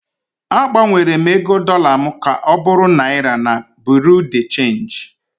Agbanwere m ego dollar m ka ọ bụrụ Naira na Bureau de Change